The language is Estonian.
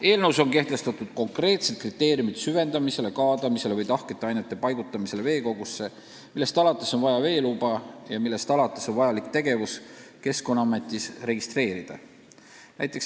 Eelnõus on kehtestatud konkreetsed kriteeriumid süvendamisele, kaadamisele ja tahkete ainete paigutamisele veekogusse, millest alates on vaja veeluba ja millest alates on vaja tegevus Keskkonnaametis registreerida.